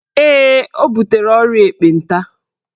Ee, ọ butere ọrịa ekpenta